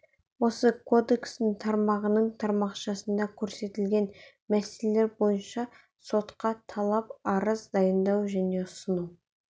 осы кодекстің тармағының тармақшасында көрсетілген мәселелер бойынша сотқа талап-арыз дайындау және ұсыну